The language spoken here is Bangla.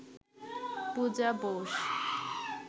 পূজা বোস